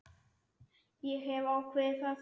Ég hef ákveðið það.